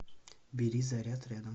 бери заряд рядом